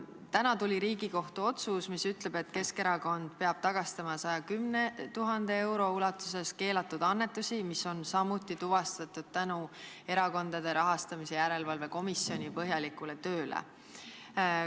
Täna tuli Riigikohtu otsus, mis ütleb, et Keskerakond peab tagastama 110 000 euro ulatuses keelatud annetusi, mis on samuti tuvastatud tänu Erakondade Rahastamise Järelevalve Komisjoni põhjalikule tööle.